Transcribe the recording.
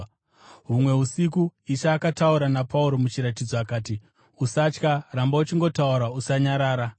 Humwe usiku Ishe akataura naPauro muchiratidzo akati, “Usatya; ramba uchingotaura, usanyarara.